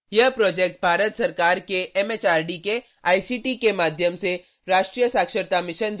भारत सरकार के MHRD ICT के माध्यम से राष्ट्रीय शिक्षा मिशन द्वारा समर्थित